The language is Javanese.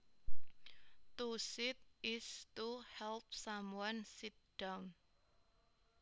To seat is to help someone sit down